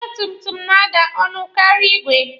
Ọgba tum tum na-ada ọnụ karịa igwe.